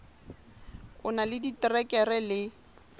o na le diterekere le